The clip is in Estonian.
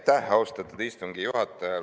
Aitäh, austatud istungi juhataja!